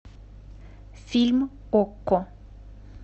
фильм окко